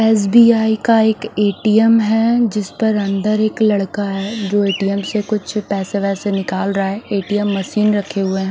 SBI का एक _ATM है जिसपर अंदर एक लड़का है जो ए_टी _एम से कुछ पेसे वेसे निकाल रहा है ए_टी _एम मशीन रखे हुए है।